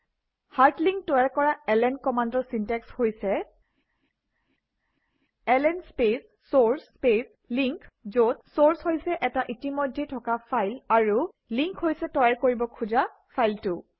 hard link তৈয়াৰ কৰা LN কমাণ্ডৰ চিনটেক্স হৈছে - LN space source space link যত চোৰ্চ হৈছে এটা ইতিমধ্যেই থকা ফাইল আৰু লিংক হৈছে তৈয়াৰ কৰিব খোজা ফাইলটো